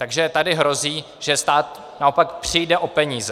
Takže tady hrozí, že stát naopak přijde o peníze.